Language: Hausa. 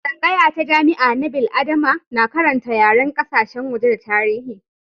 Tsangaya ta jami'a na bil'adama na karanta yaren kasashen waje da tarihi.